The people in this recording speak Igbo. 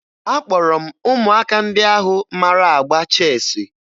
Akpọrọ m ụmụaka ndị ahụ mara agba cheesiị